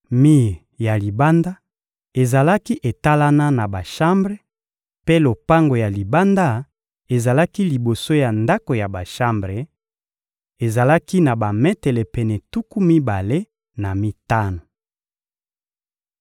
Mir ya libanda ezalaki etalana na bashambre, mpe lopango ya libanda ezalaki liboso ya ndako ya bashambre: ezalaki na bametele pene tuku mibale na mitano.